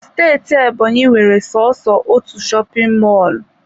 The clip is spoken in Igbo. Steeti Ebonyi nwere soso otu shopin mọlụ.